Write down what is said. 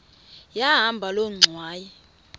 yahamba loo ngxwayi